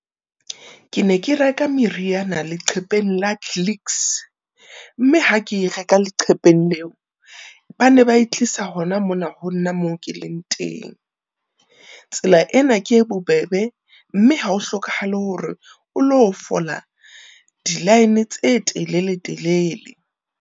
Ke ne ke reka meriana leqhepeng la Clicks, mme ha ke e reka leqhepeng leo, ba ne ba e tlisa hona mona ho nna moo ke leng teng. Tsela ena ke e bobebe, mme ha ho hlokahale hore o lo fola di-line tse telele-telele.